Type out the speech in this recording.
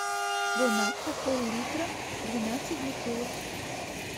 бон аква пол литра двенадцать бутылок